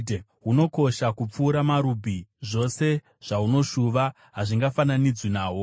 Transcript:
Hunokosha kupfuura marubhi; zvose zvaunoshuva hazvingafananidzwi nahwo.